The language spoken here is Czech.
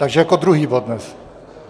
Takže jako druhý bod dnes.